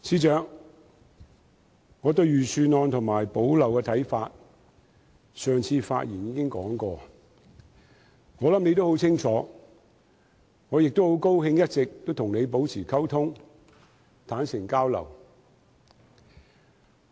司長，我對財政預算案和"補漏拾遺"方案的看法，我上次發言時已說過，我想你也很清楚，我亦很高興一直與你保持溝通，坦誠交流。